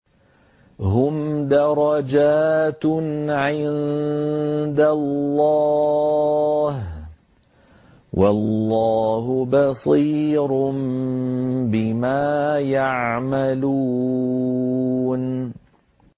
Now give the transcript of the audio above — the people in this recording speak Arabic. هُمْ دَرَجَاتٌ عِندَ اللَّهِ ۗ وَاللَّهُ بَصِيرٌ بِمَا يَعْمَلُونَ